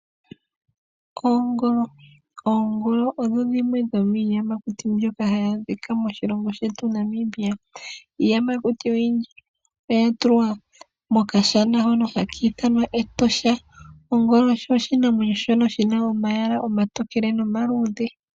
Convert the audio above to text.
Oongolo, oongolo odho dhimwe dhomiiyamakuti mbyoka hayi adhika moshilongo shetu Namibia. Iiyamakuti oyindji oya tulwa mokashana hono hakiithanwa Etosha. Ongolo osho oshinamwenyo shono shina omayala omatokele nomaluudhe.